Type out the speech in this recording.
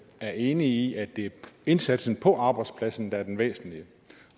er enig i at det er indsatsen på arbejdspladsen der er den væsentlige